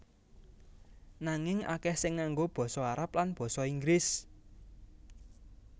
Nanging akèh sing nganggo basa Arab lan basa Inggris